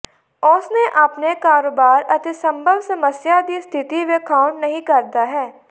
ਉਸ ਨੇ ਆਪਣੇ ਕਾਰੋਬਾਰ ਅਤੇ ਸੰਭਵ ਸਮੱਸਿਆ ਦੀ ਸਥਿਤੀ ਵੇਖਾਉਣ ਨਹੀ ਕਰਦਾ ਹੈ